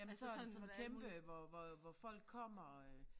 Jamen så det sådan kæmpe hvor hvor hvor folk kommer øh